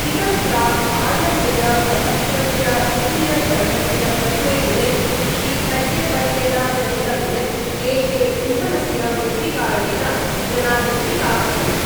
इतः प्राक् आयव्ययप्रपत्रस्य द्वितीयचरणस्य प्रथमे दिने श्रीखड्गेवर्येण भणितं यत् देशे इन्धनस्य वृद्धिकारणेन जना दुखिताः सन्ति।